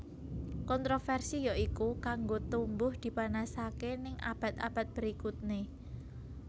Kontroversi yoiku kanggo tumbuh dipanasake ning abad abad berikutne